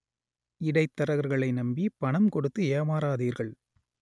இடைத்தரகர்களை நம்பி பணம் கொடுத்து ஏமாறாதீர்கள்